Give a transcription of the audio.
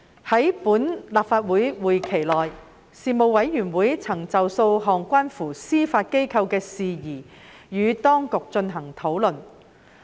在本立法會會期內，事務委員會曾就數項關乎司法機構的事宜與當局進行討論。